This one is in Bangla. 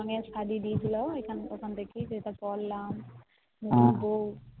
একটা হলুদ রঙের সারি দিয়েছিলো ওটা পড়লাম